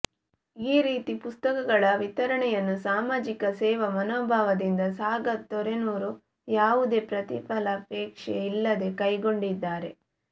ಈ ರೀತಿ ಪುಸ್ತಕಗಳ ವಿತರಣೆಯನ್ನು ಸಾಮಾಜಿಕ ಸೇವಾ ಮನೋಭಾವದಿಂದ ಸಾಗರ್ ತೊರೆನೂರು ಯಾವುದೇ ಪ್ರತಿಫಲಾಪೇಕ್ಷೆ ಇಲ್ಲದೇ ಕೈಗೊಂಡಿದ್ದಾರೆ